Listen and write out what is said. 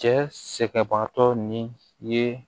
Cɛ sɛgɛnbaatɔ ni ye